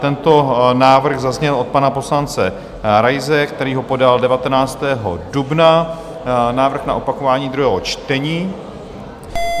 Tento návrh zazněl od pana poslance Raise, který ho podal 19. dubna, návrh na opakování druhého čtení.